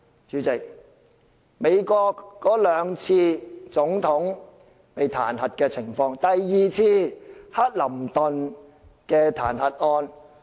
主席，美國史上有兩次總統彈劾案，第二次是克林頓的彈劾案。